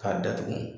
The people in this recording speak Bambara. K'a datugu